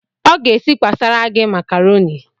Ọ ga-esikwasara gị makaroni?